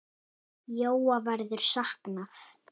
Jóa verður saknað.